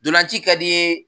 Dolanci ka d'i ye